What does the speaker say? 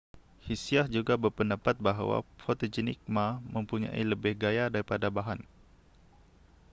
hsiah juga berpendapat bahwa fotogenik ma mempunyai lebih gaya daripada bahan